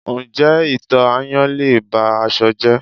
Ǹjẹ́ ito ayan lé e ba aṣọ jẹ́?